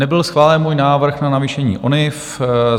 Nebyl schválen můj návrh na navýšení ONIV.